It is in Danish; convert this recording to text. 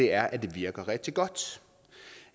er at det virker rigtig godt